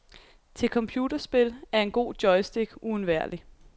Til computerspil er en god joystick uundværlig.